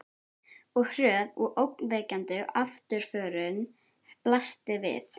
Og hröð og ógnvekjandi afturförin blasti við.